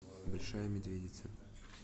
большая медведица